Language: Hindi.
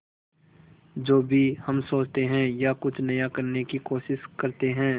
जो भी हम सोचते हैं या कुछ नया करने की कोशिश करते हैं